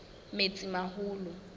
metsimaholo